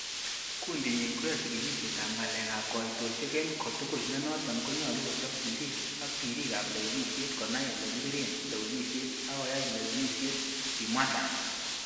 'Kundinyin koyoe chigilisietab ngalekab koitosiek en kotugul, nenoton ko nyolu kochob sirik ab birikab lewenisiet, konai ele kibiren lewenisiet ak koyai lewenisiey,''kimwa Sang